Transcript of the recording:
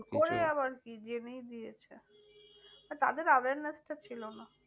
করে আবার কী যেনেই দিয়েছে। তাদের awareness টা ছিল না।